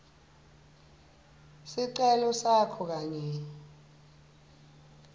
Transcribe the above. sicelo sakho kanye